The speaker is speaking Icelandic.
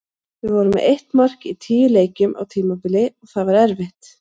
Við vorum með eitt mark í tíu leikjum á tímabili og það var erfitt.